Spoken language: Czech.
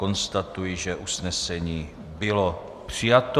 Konstatuji, že usnesení bylo přijato.